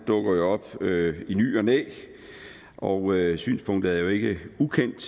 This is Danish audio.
dukker op i ny og næ og synspunktet er jo ikke ukendt